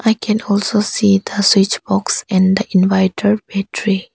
I can also see the switch box and the inviter battery.